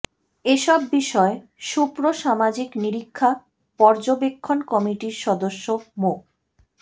এসব বিষয়ে সুপ্র সামাজিক নিরীক্ষা পর্যবেক্ষণ কমিটির সদস্য মো